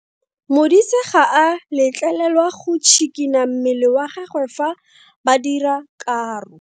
Modise ga a letlelelwa go tshikinya mmele wa gagwe fa ba dira karo.